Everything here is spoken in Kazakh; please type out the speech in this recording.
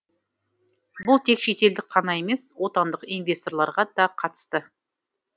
бұл тек шетелдік қана емес отандық инвесторларға да қатысты